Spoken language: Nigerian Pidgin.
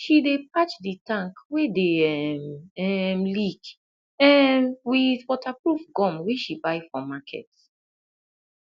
she dey patch di tank wey dey um um leak um with waterproof gum wey she buy for market